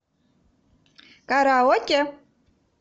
караоке